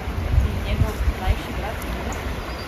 In njegov mlajši brat Milo?